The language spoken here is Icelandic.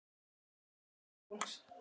Þetta mun vekja áhuga fólks.